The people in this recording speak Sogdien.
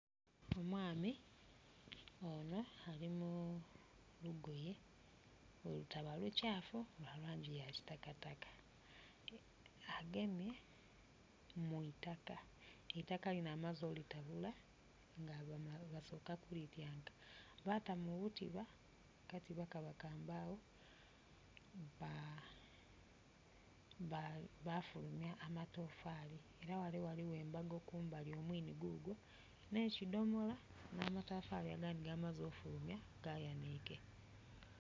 Omwami ono ali mu lugoye bwerutaba lukyafu lwa langi ya kitakataka agemye mu itaka, eitika lino amaze olitabula nga basoka ku lityanka bata mu butiba akatiba kaba ka mbawo, bafulumya amatafari era ghale ghaligho embago omwiini gugwo ne kidhomola namatafari agandi gamaze okufulumya gayanike.